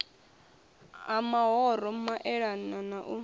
ha mahoro maelana na u